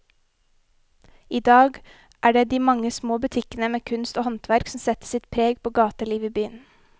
I dag er det de mange små butikkene med kunst og håndverk som setter sitt preg på gatelivet i byen.